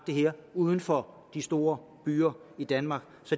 det her uden for de store byer i danmark